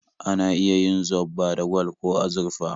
Ana iya yin zobba da gwal ko azurfa